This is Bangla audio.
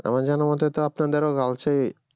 আমার জানার মতে তো আপনাদেরও girls এ